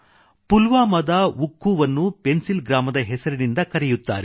ಪುಲ್ವಾಮಾದ ಉಕ್ಖೂವನ್ನು ಪೆನ್ಸಿಲ್ ಗ್ರಾಮದ ಹೆಸರಿನಿಂದ ಕರೆಯುತ್ತಾರೆ